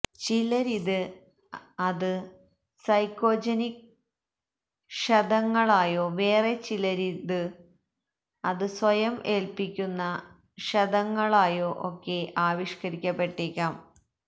ചിലരില് അത് സൈക്കോജനിക് ക്ഷതങ്ങളായോ വേറെ ചിലരില് അത് സ്വയം ഏല്പ്പിക്കുന്ന ക്ഷതങ്ങളായോ ഒക്കെ ആവിഷ്കരിക്കപ്പെട്ടേക്കാം